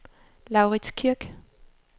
Laurits Kirk